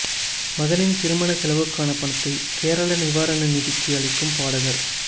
மகனின் திருமண செலவுக்கான பணத்தை கேரள நிவாரண நிதிக்கு அளிக்கும் பாடகர்